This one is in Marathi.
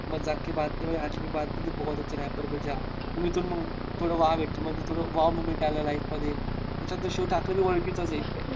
मजाक कि बात नाही तू बहोत अच्छा rapper मेरी जान. मी तर मग थोडं wow म्हणजे थोडं wow moment आला life मध्ये, शिव ठाकरे बी ओळखीचाच आहे.